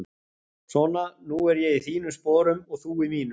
Svona, nú er ég í þínum sporum og þú í mínum.